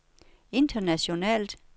internationalt